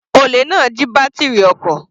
Olè náà jí bátírì ọkọ̀.